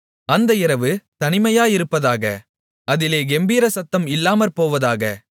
அந்த இரவு தனிமையாயிருப்பதாக அதிலே கெம்பீரசத்தம் இல்லாமற்போவதாக